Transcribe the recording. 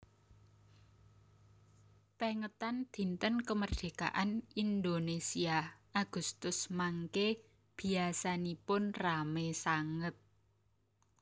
Pengetan dinten kemerdekaan Indonesia Agustus mangke biasanipun rame sanget